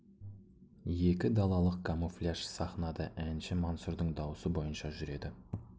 екі далалық камуфляж сахнада әнші мансұрдың дауысы бойынша жүреді